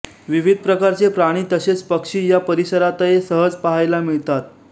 विविध प्रकारचे प्राणी तसेच पक्षी या परिसरातये सहज पाहायला मिळतात